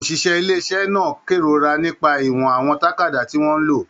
Oṣiṣẹ ilé iṣẹ náà kerora nípa ìwọ̀n àwọn tàkádá tí wọn lò.